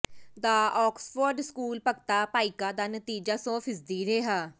ਦਾ Oxford school Bhagta Bhaika ਦਾ ਨਤੀਜਾ ਸੌ ਫ਼ੀਸਦੀ ਰਿਹਾ